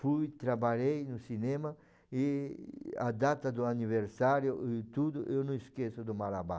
Fui, trabalhei no cinema e a data do aniversário e tudo, eu não esqueço do Marabá.